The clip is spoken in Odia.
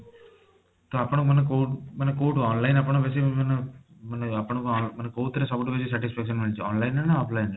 ତ ଆପଣ ମାନେ କୋଊଠୁ ମାନେ କୋଊଠୁ online ଆପଣ ବେଶୀ ମାନେ ଆପଣ କୋଊଥିରେ ବେଶୀ satisfaction ମିଳିଛି online ରେ ନା offline ରେ